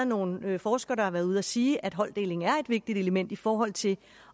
nogle forskere der har været ude at sige at holddeling er et vigtigt element i forhold til